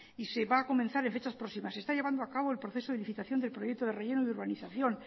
y se va a comenzar en fechas próximas se está llevando a cabo el proceso de licitación del proyecto de relleno de urbanización